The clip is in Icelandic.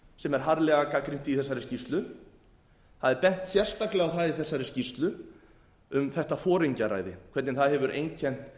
sem er harðlega gagnrýnt í þessari skýrslu það er bent sérstaklega á það í þessari skýrslu um þetta foringjaræði hvernig það hefur einkennt